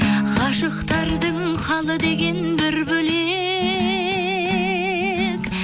ғашықтардың халы деген бір бөлек